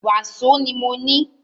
Wàsó ni mọ ní.